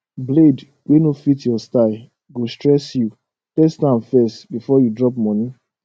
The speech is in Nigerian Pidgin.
blade wey no fit your style go stress youtest am first before you drop money